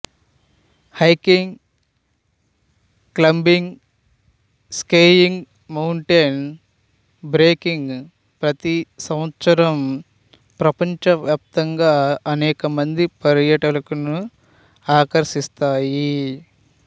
hiking climbing skiing mountain biking ప్రతి సంవత్సరం ప్రపంచ వ్యాప్తంగా అనేక మంది పర్యాటకులను ఆకర్షిస్తాయి